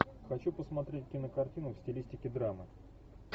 хочу посмотреть кинокартину в стилистике драмы